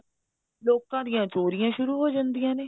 ਲੋਕਾਂ ਦੀਆਂ ਚੋਰੀਆਂ ਸ਼ੁਰੂ ਹੋ ਜਾਂਦੀਆਂ ਨੇ